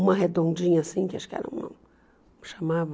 Uma redondinha assim, que acho que era uma... chamava...